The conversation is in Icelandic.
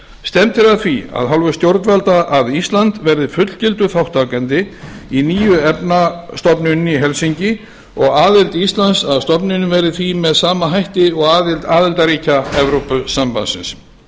stefnt er að því af hálfu stjórnvalda að ísland verði fullgildur þátttakandi í nýju efnastofnuninni í helsinki og aðild íslands að stofnuninni verði því með sama hætti og aðild aðildarríkja evrópusambandsins samkvæmt